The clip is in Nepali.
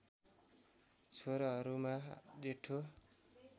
छोराहरूमा जेठो